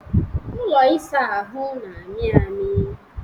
ụlọ ịsa ahụ na-amị amị